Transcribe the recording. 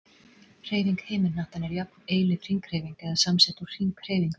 Hreyfing himinhnattanna er jöfn, eilíf hringhreyfing, eða samsett úr hringhreyfingum.